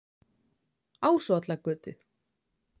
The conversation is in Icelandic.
Ásvallagötu